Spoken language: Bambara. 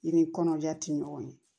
I ni kɔnɔja ti ɲɔgɔn ye